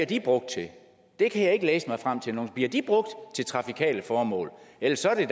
de brugt til det kan jeg ikke læse mig frem til bliver de brugt til trafikale formål ellers er